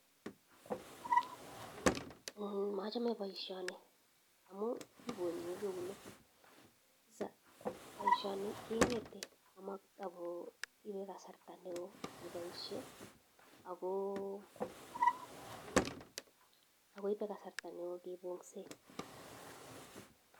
Mamechee paishonii amuu kiponyee keunek paishonii kee ngetee akoipe kasarta neoo kee paishe akoipe kasarta neoo keponyee